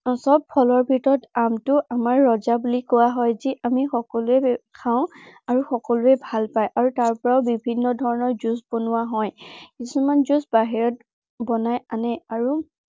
সৱ ফলৰ ভিতৰত আমটো আমাৰ ৰজা বুলি কোৱা হয়। যি আমি সকলোৱে খাও আৰু সকলোৱে খাই ভাল পায়। আৰু তাৰ পৰাও বিভিন্ন ধৰনৰ juice বনোৱা হয়। কিছুমান juice বাহিৰত বনাই আনে আৰু